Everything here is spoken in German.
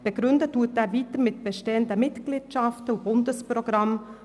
Er begründet dies mit bestehenden Mitgliedschaften am Bundesprogramm.